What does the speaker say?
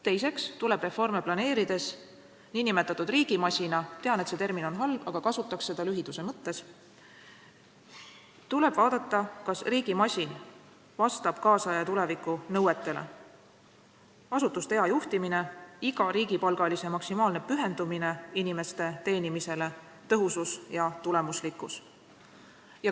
Teiseks tuleb reforme planeerides vaadata, kas nn riigimasin – ma tean, et see termin on halb, aga kasutan seda lühiduse huvides – vastab tänapäeva ja tuleviku nõuetele: asutuste hea juhtimine, iga riigipalgalise maksimaalne pühendumine inimeste teenimisele, tõhusus ja tulemuslikkus.